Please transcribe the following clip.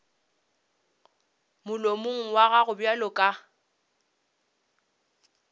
molomong wa gago bjalo ka